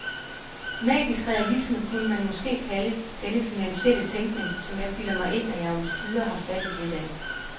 Magisk realisme kunne man måske kalde denne finansielle tænkning, som jeg bilder mig ind, at jeg omsider har fattet lidt af.